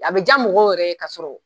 A bi ja mɔgɔw yɛrɛ ye ka sɔrɔ